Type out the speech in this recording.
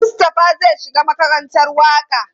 Mustapha zai shiga makarantar waƙa.